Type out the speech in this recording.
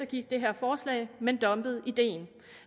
gik det her forslag men dumpede ideen